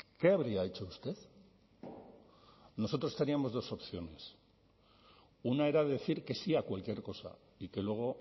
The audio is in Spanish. qué habría hecho usted nosotros teníamos dos opciones una era decir que sí a cualquier cosa y que luego